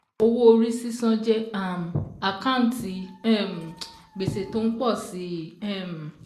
Owó orí sísan jẹ́ um àkántì um gbèsè tó ń pọ̀ sí i. um